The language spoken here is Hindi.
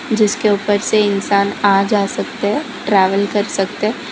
जिसके ऊपर से इंसान आ जा सकते है ट्रेवल कर सकते--